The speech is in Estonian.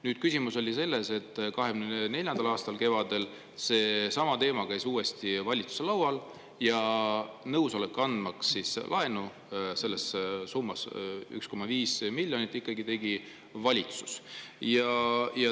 Nüüd, küsimus oli selles, et 2024. aasta kevadel käis seesama teema uuesti valitsuse laual ja nõusoleku, andmaks laenu summas 1,5 miljonit eurot, andis ikkagi valitsus.